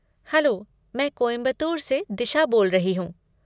Hello! मैं कोयंबतूर से दिशा बोल रही हूँ।